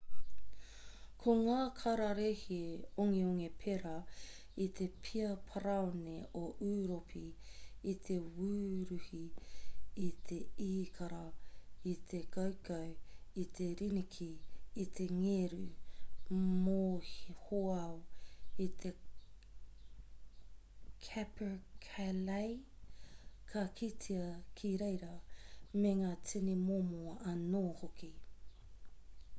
ko ngā kararehe ongeonge pērā i te pia parāone o ūropi i te wuruhi i te īkara i te koukou i te riniki i te ngeru mohoao i te capercaillie ka kitea ki reira me ngā tini momo anō hoki